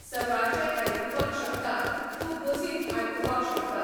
सकाळचें आयकुपाक शकता, तूं बसींत आयकुपाक शकता.